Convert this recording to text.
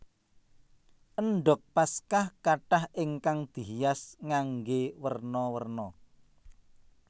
Endhog Paskah kathah ingkang dihias nganggé werna werna